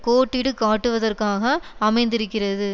கோட்டிடுக்காட்டுவதற்காக அமைந்திருக்கிறது